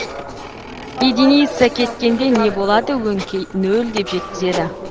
единица кеткенде не болады өңкей нөл деп жеткізеді